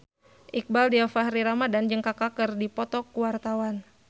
Iqbaal Dhiafakhri Ramadhan jeung Kaka keur dipoto ku wartawan